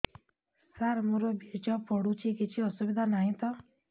ସାର ମୋର ବୀର୍ଯ୍ୟ ପଡୁଛି କିଛି ଅସୁବିଧା ନାହିଁ ତ